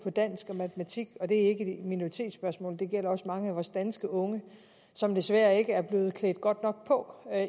dansk og matematik og det er ikke et minoritetsspørgsmål det gælder også mange af vores danske unge som desværre ikke er blevet klædt godt nok på